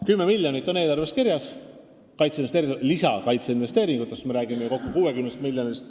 10 miljonit on eelarves kirjas, lisakaitseinvesteeringutes – me räägime ju kokku 60 miljonist.